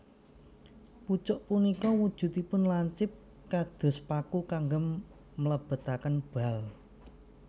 Pucuk punika wujudipun lancip kados paku kagem mlebetaken bal